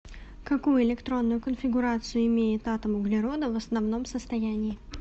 какую электронную конфигурацию имеет атом углерода в основном состоянии